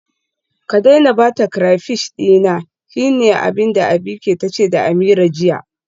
Ki daina bata crayfish dina, shine abinda Abike tace da Ameerah jiya.